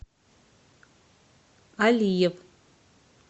алиев